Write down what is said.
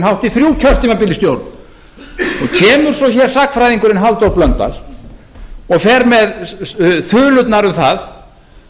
hátt í þrjú kjörtímabil í stjórn kemur svo hér sagnfræðingurinn halldór blöndal og fer með þulurnar um það